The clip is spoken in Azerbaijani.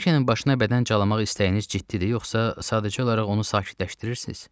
Brikenin başına bədən calamaq istəyiniz ciddidir yoxsa sadəcə olaraq onu sakitləşdirirsiz?